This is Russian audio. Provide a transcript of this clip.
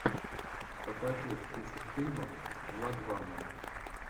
покажи список фильмов владвана